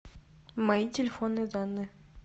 мои телефонные данные